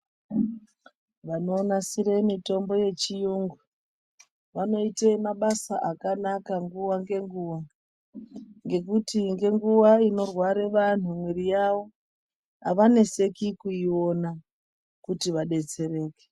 Vanonasira mitombo yechiyungu vanoite mabasa akanaka nguwa ngenguwa ngekuti ngenguva inorwara vantu mwiri yavo avaneseki kuiona kuti vadetsereke.